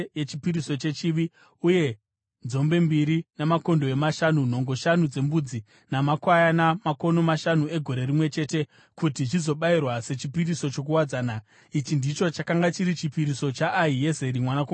uye nzombe mbiri, makondobwe mashanu, nhongo shanu dzembudzi namakwayana makono mashanu egore rimwe chete, kuti zvizobayirwa sechipiriso chokuwadzana. Ichi ndicho chakanga chiri chipiriso chaAhiezeri mwanakomana waAmishadhai.